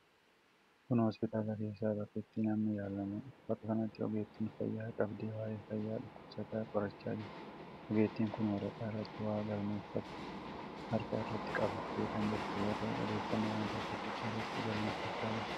Kun hoospitaala keessa bakka itti namni yaalamuudha. Bakka kanatti ogeettiin fayyaa qabdee waa'ee fayyaa dhukkubsataa qorachaa jirti. Ogeettiin kun waraqaa irratti waa galmeeffattu harka irratti qabatte kan jirtu, yoo ta'u odeeffannoo tokko tokko irratti galmeeffachaa jirti.